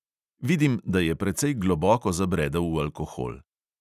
Vidim, da je precej globoko zabredel v alkohol.